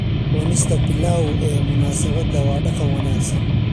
Cunista pilau ee munaasabada waa dhaqan wanaagsan.